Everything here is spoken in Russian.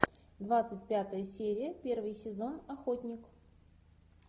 двадцать пятая серия первый сезон охотник